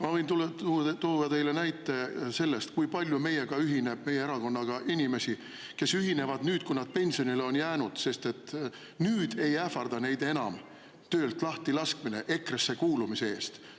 Ma võin tuua teile näite sellest, kui palju ühinevad meie erakonnaga inimesed siis, kui nad on pensionile jäänud, sest nüüd ei ähvarda neid enam töölt lahti laskmine EKRE-sse kuulumise eest.